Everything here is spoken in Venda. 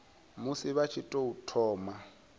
musi vha tshi tou thoma